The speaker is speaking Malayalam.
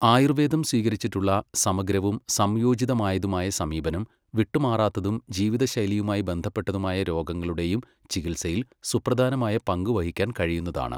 ആയുർവേദം സ്വീകരിച്ചിട്ടുള്ള സമഗ്രവും സംയോജിതമായതുമായ സമീപനം വിട്ടുമാറാത്തതും ജീവിതലൈിയുമായി ബന്ധപ്പെട്ടതുമായ രോഗങ്ങളുടെയും ചികിത്സയിൽ സുപ്രധാനമായ പങ്കുവഹിക്കാൻ കഴിയുന്നതാണ്.